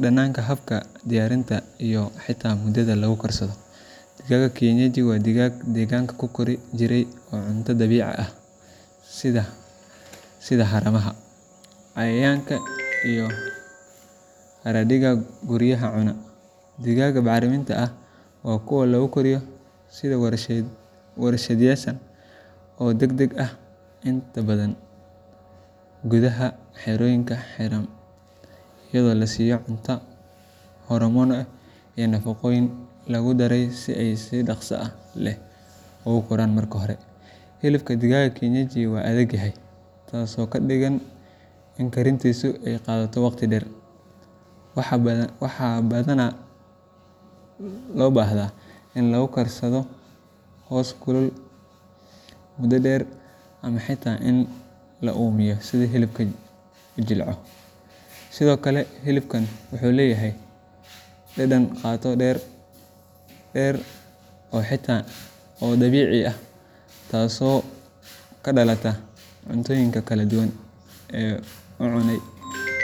dhadhanka, habka diyaarinta iyo xitaa muddada lagu karsado. Digaagga kienyeji waa digaag deegaanka ku kori jiray oo cunto dabiici ah sida haramaha, cayayaanka iyo haraadiga guryaha cuna. Digaagga baacriminta ahna waa kuwo lagu koriyo si warshadaysan oo degdeg ah, inta badan gudaha xerooyin xiran iyadoo la siiyo cunto hormoonno iyo nafaqooyin lagu daray si ay si dhaqso leh u koraan. Marka hore, hilibka digaaga kienyeji waa adag yahay, taasoo ka dhigan in karintiisu ay qaadato waqti dheer. Waxaa badanaa loo baahdaa in lagu karsado hoos kulul muddo dheer ama xitaa in la uumiye si hilibku u jilco. Sidoo kale, hilibkani wuxuu leeyahay dhadhan qoto dheer oo dabiici ah, taasoo ka dhalata cuntooyinka kala duwan ee uu cunay .